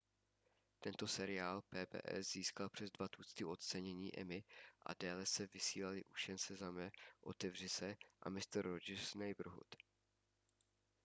tento seriál pbs získal přes dva tucty ocenění emmy a déle se vysílaly už jen sezame otevři se a mister rogers' neighborhood